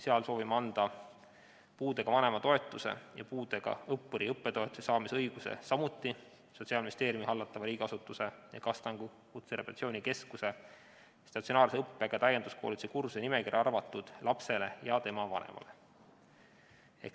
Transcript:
Seal soovime anda puudega vanema toetuse ja puudega õppuri õppetoetuse saamise õiguse samuti Sotsiaalministeeriumi hallatava riigiasutuse ehk Astangu Kutserehabilitatsiooni Keskuse statsionaarse õppega täienduskoolituse kursuse nimekirja arvatud lapsele ja tema vanemale.